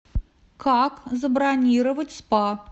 как забронировать спа